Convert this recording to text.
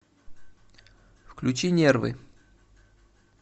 включи нервы